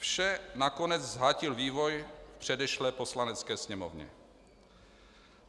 Vše nakonec zhatil vývoj v předešlé Poslanecké sněmovně.